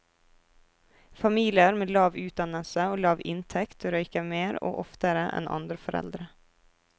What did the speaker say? Familier med lav utdannelse og lav inntekt røyker mer og oftere enn andre foreldre.